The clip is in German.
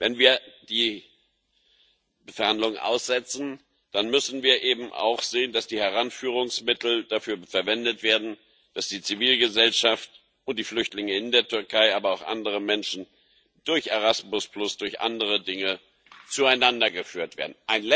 Wenn wir die Verhandlungen aussetzen, dann müssen wir eben auch sehen, dass die Heranführungsmittel dafür verwendet werden, dass die Zivilgesellschaft und die Flüchtlinge in der Türkei, aber auch andere Menschen durch Erasmus, durch andere Dinge zueinander geführt werden.